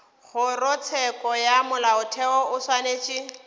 kgorotsheko ya molaotheo o swanetše